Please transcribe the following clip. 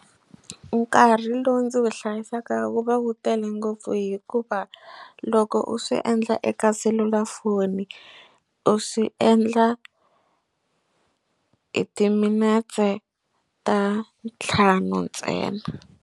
Nkarhi lowu ndzi wu hlayisaka wu va wu tele ngopfu hikuva loko u swi endla eka selulafoni u swi endla hi timinetse ta ntlhanu ntsena.